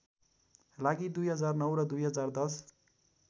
लागि २००९ र २०१०